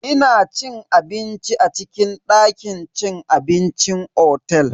Ina cin abinci a cikin dakin cin abincin otel.